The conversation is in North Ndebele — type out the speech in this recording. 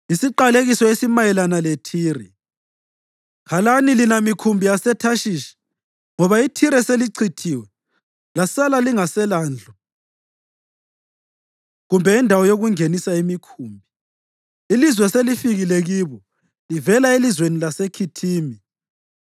Isiqalekiso esimayelana leThire: Khalani lina mikhumbi yaseThashishi! Ngoba iThire selichithiwe lasala lingaselandlu kumbe indawo yokungenisa imikhumbi. Ilizwi selifikile kibo livela elizweni laseKhithimi.